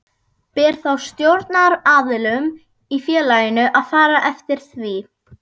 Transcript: Ber þá stjórnaraðilum í félaginu að fara eftir því.